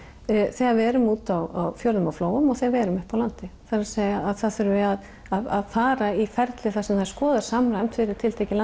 þegar við erum út á fjörðum og flóum og þegar við erum uppi á landi það er að að það þurfi að að fara í ferli þar sem er skoðað samræmt fyrir tiltekið